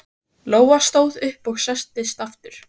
Lóa stóð upp og settist aftur.